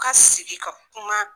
U ka sigi ka kuma